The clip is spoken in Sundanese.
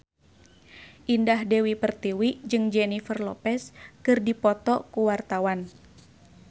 Indah Dewi Pertiwi jeung Jennifer Lopez keur dipoto ku wartawan